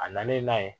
A nalen n'a ye